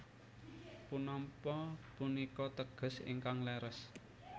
Punapa punika teges ingkang leres